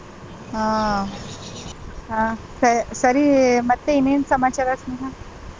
ಹಾ ಹ ಸ~ ಸರಿ ಮತ್ತೆ ಇನ್ನೆನ್ ಸಮಾಚಾರ ಸ್ನೇಹ.